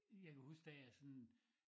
Jeg kan huske da jeg sådan